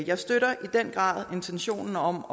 jeg støtter i den grad intentionen om